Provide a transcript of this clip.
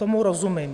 Tomu rozumím.